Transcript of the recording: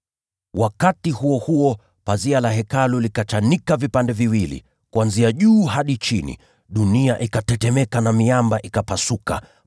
Wakati huo huo pazia la Hekalu likachanika vipande viwili, kuanzia juu hadi chini. Dunia ikatetemeka na miamba ikapasuka.